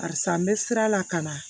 Karisa n bɛ sira la ka na